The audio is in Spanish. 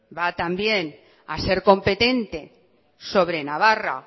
va también a ser competente sobre navarra